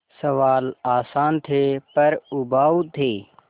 सवाल आसान थे पर उबाऊ थे